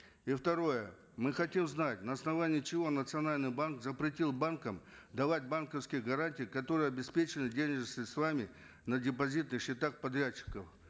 и второе мы хотим знать на основании чего национальный банк запретил банкам давать банковские гарантии которые обеспечивают денежными средствами на депозитных счетах подрядчиков